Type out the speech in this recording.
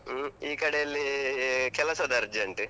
ಹ್ಮ್ ಈ ಕಡೆ ಅಲ್ಲೀ ಕೆಲಸದ urgent .